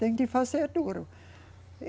Tem que fazer duro.